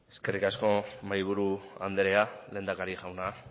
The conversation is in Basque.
eskerrik asko mahaiburu anderea lehendakari jauna